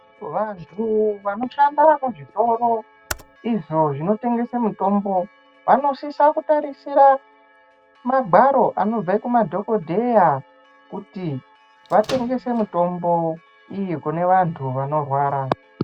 Vantu vanoshanda muzvitoro izvo zvinotengese mutùmbo vanosisokutarisira magwaro anobve kumadhokodheya kuti vatengese mitombo iyi kune vantu vanorwara.